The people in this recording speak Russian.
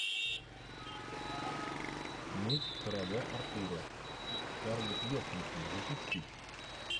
меч короля артура с скарлетт йоханссон запусти